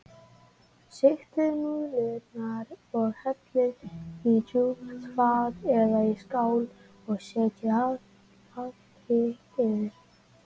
Sigtið núðlurnar og hellið á djúpt fat eða í skál og setjið allt hitt yfir.